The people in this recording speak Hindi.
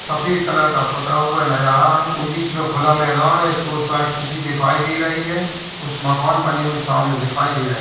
सफ़ेद कलर का पुता हुआ नजर आ रहा है और बीच में खुला मैदान है इसके उस साइड सिटी दिखाई दे रही है कुछ मकान बने हुए सामने दिखाई दे रहे --